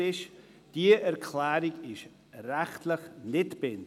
Sicher ist: Diese Erklärung ist rechtlich nicht bindend.